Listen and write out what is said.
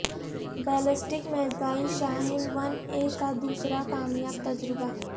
ballistic missile Shaheen one A کا دوسرا کامیاب تجربہ